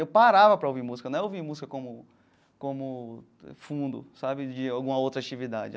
Eu parava para ouvir música, não é ouvir música como como fundo sabe de alguma outra atividade.